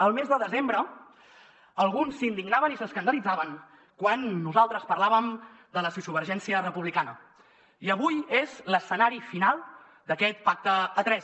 el mes de desembre alguns s’indignaven i s’escandalitzaven quan nosaltres parlàvem de la sociovergència republicana i avui és l’escenari final d’aquest pacte a tres